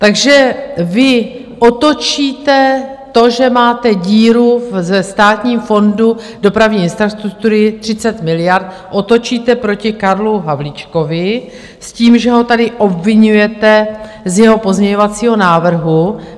Takže vy otočíte to, že máte díru ve Státním fondu dopravní infrastruktury 30 miliard, otočíte proti Karlu Havlíčkovi s tím, že ho tady obviňujete z jeho pozměňovacího návrhu.